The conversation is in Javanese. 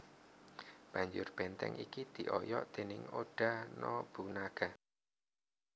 Banjur benteng iki dioyok déning Oda Nobunaga